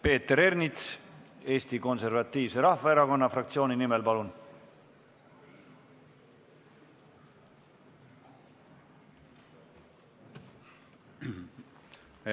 Peeter Ernits, Eesti Konservatiivse Rahvaerakonna fraktsiooni nimel, palun!